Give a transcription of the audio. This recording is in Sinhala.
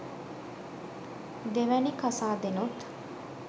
දෙවනි කසාදෙනුත්